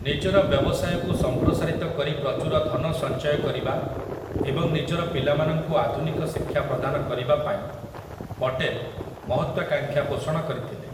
ନିଜର ବ୍ୟବସାୟକୁ ସମ୍ପ୍ରସାରିତ କରି ପ୍ରଚୁର ଧନ ସଞ୍ଚୟ କରିବା ଏବଂ ନିଜର ପିଲାମାନଙ୍କୁ ଆଧୁନିକ ଶିକ୍ଷା ପ୍ରଦାନ କରିବା ପାଇଁ ପଟେଲ୍ ମହତ୍ୱାକାଂକ୍ଷା ପୋଷଣ କରିଥିଲେ ।